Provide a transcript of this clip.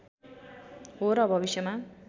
हो र भविष्यमा